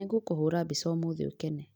Nĩngũkũhũra mbica ũmũthĩ ukene